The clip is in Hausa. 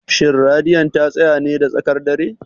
Shin Radiyon ta tsaya ne da tsakar dare?